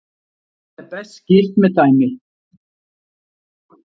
Þetta er best skýrt með dæmi: